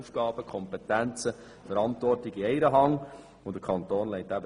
Die Aufgaben und Kompetenzen sowie die Verantwortung werden sich in einer einzigen Hand befinden.